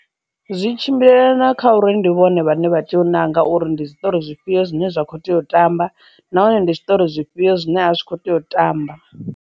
Zwi tshimbilelana kha uri ndi vhone vhane vha tea u nanga uri ndi zwiṱori zwifhio zwine zwa kho tea u tamba nahone ndi zwiṱori zwifhio zwine a zwi kho tea u tamba.